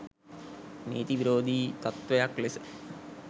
නීති විරෝධී තත්ත්වයක් ලෙස